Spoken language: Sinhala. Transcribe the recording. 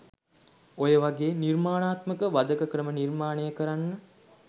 ඔය වගේ නිර්මාණාත්මක වධක ක්‍රම නිර්මාණය කරන්න